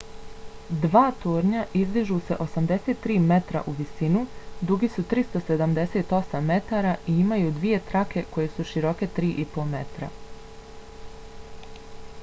dva tornja izdižu se 83 metra u visinu dugi su 378 metara i imaju dvije trake koje su široke 3,50 m